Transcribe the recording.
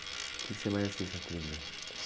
O quê que você mais assiste na televisão?